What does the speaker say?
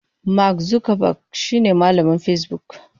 Mark Zuckerberg shine mamallakin Facebook.